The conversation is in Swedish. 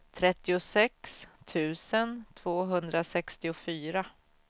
trettiosex tusen tvåhundrasextiofyra